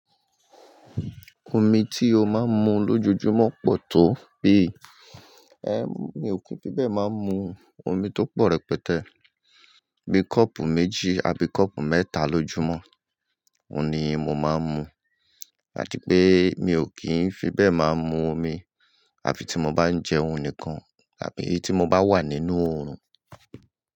Omi tí o máa ń mu lójoojúmọ́ pọ̀ tó bí, ẹ mi ò kí n fi bẹ́ẹ̀ máa ń mu omi tó pọ̀ rẹpẹtẹ́. Bí kọ́ọ̀pù méjì àbí kọ́ọ̀pù mẹ́ta lójúmọ́, òun ni mo máa ń mu. Àti pé mi ò kí ń fi bẹ́ẹ̀ máa ń mu omi, àfi tí mo bá ń jẹun níkan, àbí tí mo bá wà nínú oòrùn.